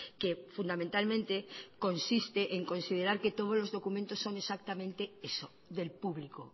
que fundamentalmente consiste en considerar que todos los documentos son exactamente eso del público